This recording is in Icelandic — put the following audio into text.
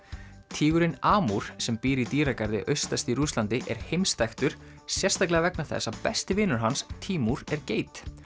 tígurinn Amúr sem býr í dýragarði austast í Rússlandi er heimsþekktur sérstaklega vegna þess að besti vinur hans Tímúr er geit